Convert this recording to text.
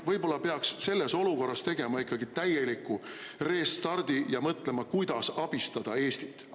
Võib-olla peaks selles olukorras tegema ikkagi täieliku restardi ja mõtlema, kuidas abistada Eestit?